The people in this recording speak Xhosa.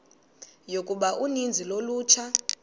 yokuba uninzi lolutsha